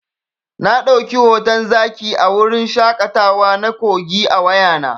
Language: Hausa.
Na ɗauki hoton zaki a wurin shaƙatawa na Kogi a wayana.